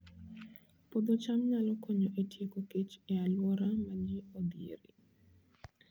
Puodho cham nyalo konyo e tieko kech e alwora ma ji odhierie